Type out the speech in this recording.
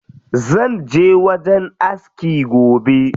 Zanje wajen aski gobe.